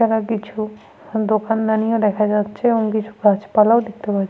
এছাড়া কিছু দোকানদানিও দেখা যাচ্ছে এবং কিছু গাছপালাও দেখতে পাচ্ছি।